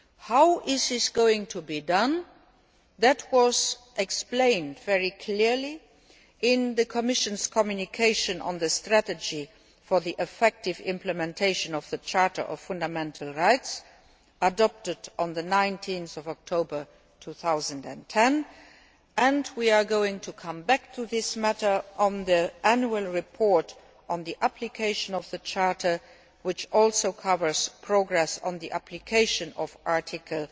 How this is to be achieved was explained very clearly in the Commission's communication on the strategy for effective implementation of the Charter of Fundamental Rights, adopted on 19 October 2010. We will come back to this matter in the annual report on application of the Charter, which also covers progress on the application of Article